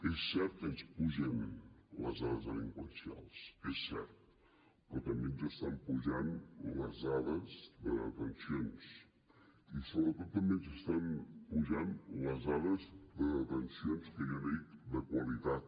és cert que ens pugen les dades delinqüencials és cert però també ens estan pujant les dades de detencions i sobretot també ens estan pujant les dades de detencions que jo en dic de qualitat